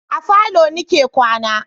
A falo ni ke kwana